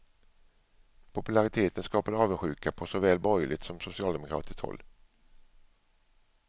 Populariteten skapade avundsjuka på så väl borgerligt som socialdemokratiskt håll.